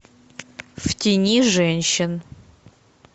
в тени женщин